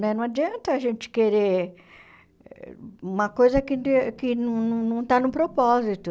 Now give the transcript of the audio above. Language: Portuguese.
Né não adianta a gente querer uma coisa que De que não não não está no propósito.